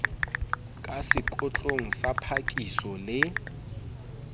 ka sekotlong sa phakiso le